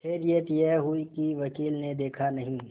खैरियत यह हुई कि वकील ने देखा नहीं